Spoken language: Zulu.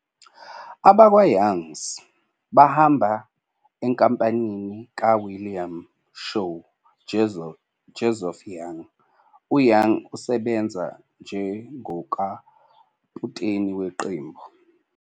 AbakwaYoungs bahamba eNkampanini kaWilliam Snow, Joseph Young, uYoung esebenza njengokaputeni weqembu.